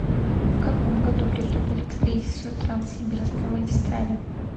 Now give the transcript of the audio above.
в каком году приступили к строительству транссибирской магистрали